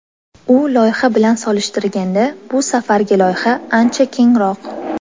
U loyiha bilan solishtirganda bu safargi loyiha ancha kengroq.